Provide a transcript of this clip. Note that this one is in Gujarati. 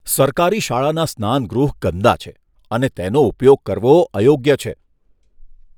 સરકારી શાળાના સ્નાનગૃહ ગંદા છે અને તેનો ઉપયોગ કરવો અયોગ્ય છે.